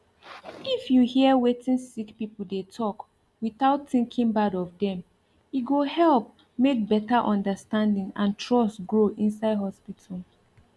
if you hear wetin sick people dey talk without thinking bad of dem e go help make better understanding and trust grow inside hospital